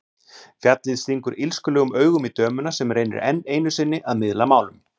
Fjallið stingur illskulegum augum í dömuna sem reynir enn einu sinni að miðla málum.